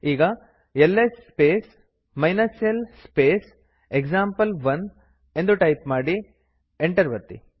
ಈಗ L S space l space example one ಎಂದು type ಮಾಡಿ ಮತ್ತು ಎಂಟರ್ ಒತ್ತಿ